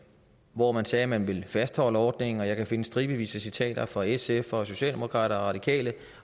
hvor man sagde at man ville fastholde ordningen og jeg kan finde stribevis af citater fra sf og socialdemokraterne og radikale